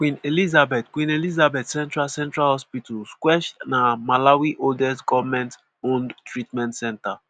queen elizabeth queen elizabeth central central hospital (qech) na malawi oldest goment owned treatment centre.